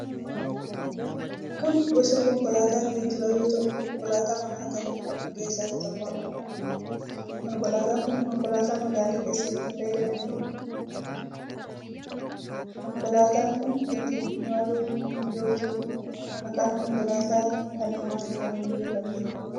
Kun gosa konkolaata geejiba yoo tahuu konkolaata mana kan jedhaman keessa isa tokkodha. Konkolaatan kun konkolaata magaala keessatti fayyadamanidha. Konkolaatan kun ittin imaluuf mijooftudha. Maqaan konkolaata kana maal jedhamuun beekamti?